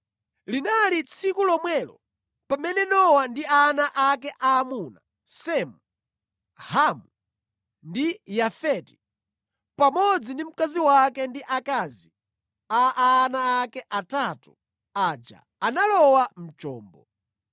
Linali tsiku lomwelo pamene Nowa ndi ana ake aamuna, Semu, Hamu ndi Yafeti, pamodzi ndi mkazi wake ndi akazi a ana ake atatu aja analowa mu chombo.